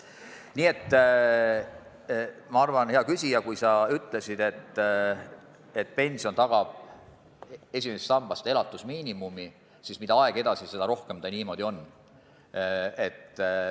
Nii et, hea küsija, kui sa ütlesid, et esimese samba pension tagab elatusmiinimumi, siis ma arvan, et mida aeg edasi, seda rohkem see niimoodi hakkab olema.